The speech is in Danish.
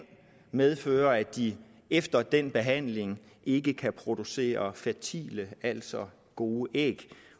medføre at de efter endt behandling ikke kan producere fertile altså gode æg